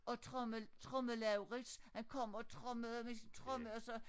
Og tromme tromme Laurits han kom og trommede med sin tromme og så